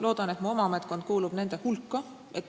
Loodan, et mu oma ametkond kuulub nende hulka.